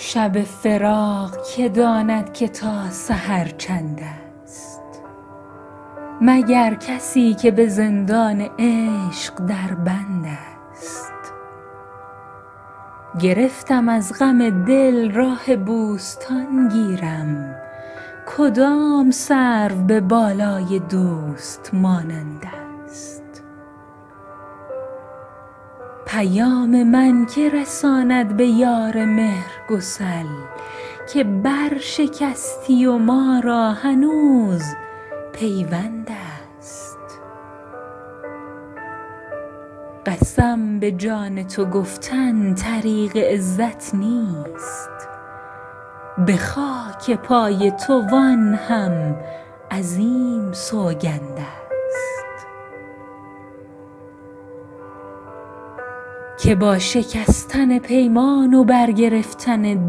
شب فراق که داند که تا سحر چندست مگر کسی که به زندان عشق در بندست گرفتم از غم دل راه بوستان گیرم کدام سرو به بالای دوست مانندست پیام من که رساند به یار مهرگسل که برشکستی و ما را هنوز پیوندست قسم به جان تو گفتن طریق عزت نیست به خاک پای تو وآن هم عظیم سوگندست که با شکستن پیمان و برگرفتن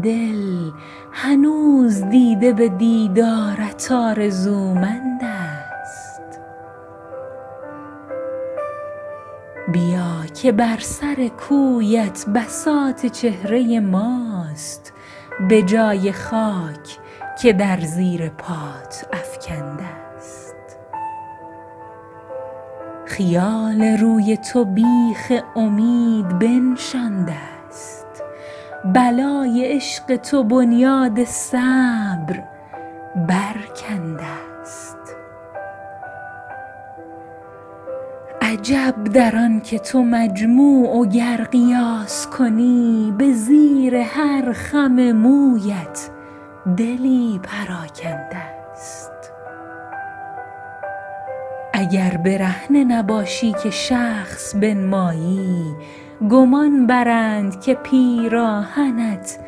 دل هنوز دیده به دیدارت آرزومندست بیا که بر سر کویت بساط چهره ماست به جای خاک که در زیر پایت افکندست خیال روی تو بیخ امید بنشاندست بلای عشق تو بنیاد صبر برکندست عجب در آن که تو مجموع و گر قیاس کنی به زیر هر خم مویت دلی پراکندست اگر برهنه نباشی که شخص بنمایی گمان برند که پیراهنت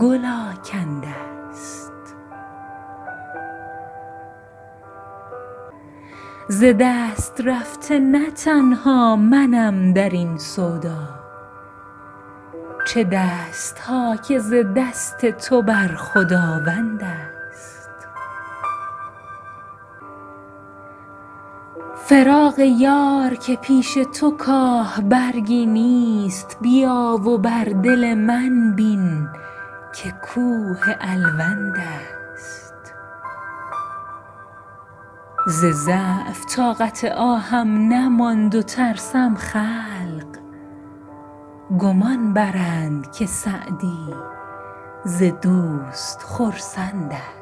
گل آکندست ز دست رفته نه تنها منم در این سودا چه دست ها که ز دست تو بر خداوندست فراق یار که پیش تو کاه برگی نیست بیا و بر دل من بین که کوه الوندست ز ضعف طاقت آهم نماند و ترسم خلق گمان برند که سعدی ز دوست خرسندست